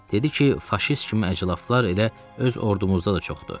Dedi ki, faşist kimi əclaflar elə öz ordumuzda da çoxdur.